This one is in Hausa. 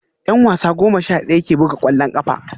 Yan wasa goma sha daya ne ke buga kwallon kafa